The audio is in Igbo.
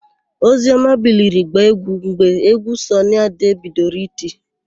Ozioma biliri gbaa égwú mgbe égwú Sọnị Ade bidoro iti.